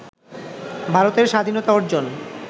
ভারতের স্বাধীনতা অর্জন